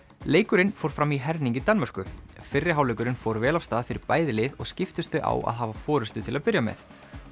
leikurinn fór fram í herning í Danmörku fyrri hálfleikurinn fór vel af stað fyrir bæði lið og skiptust þau á að hafa forystu til að byrja með